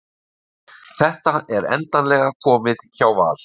Þetta er endanlega komið hjá Val